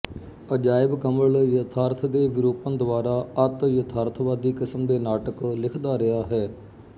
ਅਜਾਇਬ ਕਮਲ ਯਥਾਰਥ ਦੇ ਵਿਰੂਪਣ ਦੁਆਰਾ ਅਤਿਯਥਾਰਥਵਾਦੀ ਕਿਸਮ ਦੇ ਨਾਟਕ ਲਿਖਦਾ ਰਿਹਾ ਹੈ